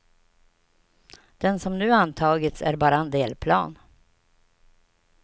Den som nu antagits är bara en delplan.